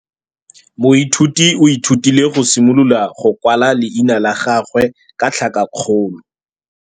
Moithuti o ithutile go simolola go kwala leina la gagwe ka tlhakakgolo.